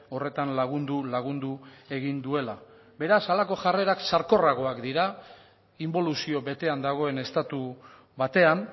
horretan lagundu lagundu egin duela beraz halako jarrerak sarkorragoak dira inboluzio betean dagoen estatu batean